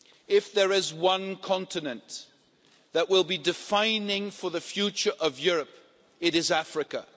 If there is one continent that will be defining for the future of Europe, it is Africa.